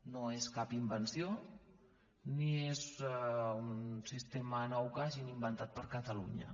no és cap invenció ni és un sistema nou que hagin inventat per a catalunya